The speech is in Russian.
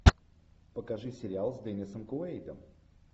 покажи сериал с деннисом куэйдом